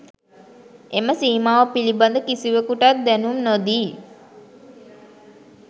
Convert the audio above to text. එම සීමාව පිළිබඳ කිසිවකුටත් දැනුම් නොදී